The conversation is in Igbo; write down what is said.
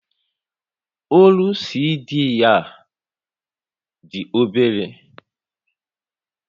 Ólú CD a dị obere